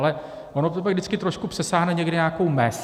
Ale ono to pak vždycky trošku přesáhne někde nějakou mez.